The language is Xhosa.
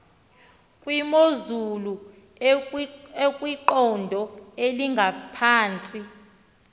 kwimozulu ekwiqondo elingaphantsi